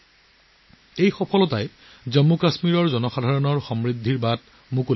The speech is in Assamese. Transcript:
এই সফলতাই জম্মু কাশ্মীৰৰ জনসাধাৰণৰ সমৃদ্ধিৰ বাবে নতুন দুৱাৰ মুকলি কৰিছে